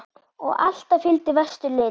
Og alltaf fylgdi vestur lit.